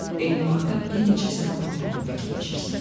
Eyni vaxtda bir neçəsinə vurulduğunu fikirləşirsən.